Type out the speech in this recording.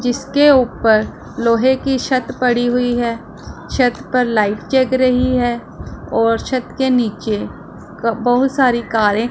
जिसके ऊपर लोहे की छत पड़ हुईं है छत पर लाइट जग रही है और छत से नीचे बहुत सारी कारें --